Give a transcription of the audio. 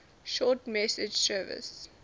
short message service